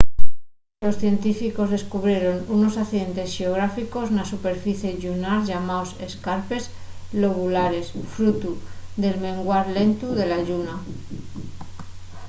los científicos descubrieron unos accidentes xeográficos na superficie llunar llamaos escarpes lobulares frutu del menguar lentu de la lluna